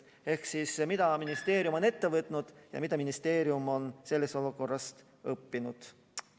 Ehk mida ministeerium on ette võtnud ja mida ministeerium on sellest olukorrast õppinud?